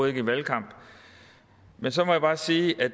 ikke i valgkamp men så må jeg bare sige at